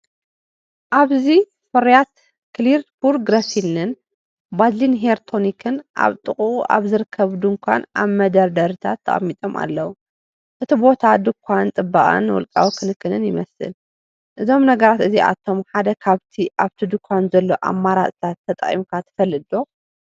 ኣብዚ ፍርያት ክሊረ ፑር ግሊሰሪንን ቫዝሊንን ሄር ቶኒክን ኣብ ጥቓኡ ኣብ ዝርከብ ድኳን ኣብ መደርደሪታት ተቐሚጦም ኣለዉ። እቲ ቦታ ድኳን ጽባቐን ውልቃዊ ክንክንን ይመስል። እዞም ነገራት እዚኣቶም ሓደ ኻብቲ ኣብቲ ድኳን ዘሎ ኣማራጺታት ተጠቒምካ ትፈልጥዶ?